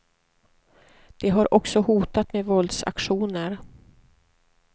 De har också hotat med våldsaktioner.